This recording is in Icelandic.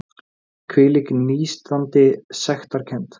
Hvílík nístandi sektarkennd!